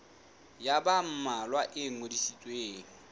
ya ba mmalwa e ngodisitsweng